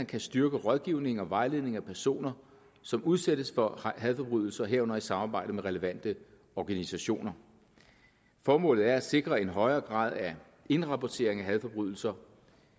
kan styrke rådgivningen og vejledningen af personer som udsættes for hadforbrydelser herunder i samarbejde med relevante organisationer formålet er at sikre en højere grad af indrapportering af hadforbrydelser